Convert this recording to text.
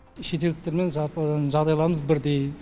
шетелдіктермен жағдайларымыз бірдей